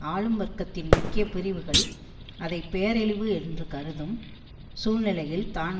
ஆளும் வர்க்கத்தின் முக்கிய பிரிவுகள் அதை பேரழிவு என்று கருதும் சூழ்நிலையில் தான்